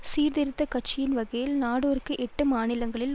சீர்திருத்த கட்சியின் வகையில் நாடெருக்கு எட்டு மாநிலங்களில்